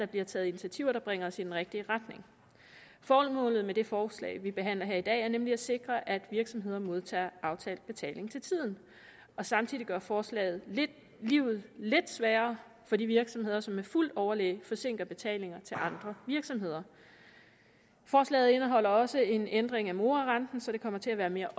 bliver taget initiativer der bringer os i den rigtige retning formålet med det forslag vi behandler her i dag er nemlig at sikre at virksomheder modtager aftalt betaling til tiden samtidig gør forslaget livet lidt sværere for de virksomheder som med fuldt overlæg forsinker betalinger til andre virksomheder forslaget indeholder også en ændring af morarenten så det kommer til at være mere